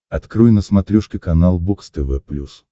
открой на смотрешке канал бокс тв плюс